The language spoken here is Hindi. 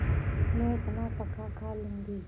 मैं अपना पकाखा लूँगी